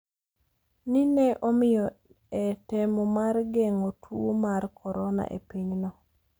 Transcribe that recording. ni ne omiyo e temo mar geng'o tuwo mar Corona e pinyno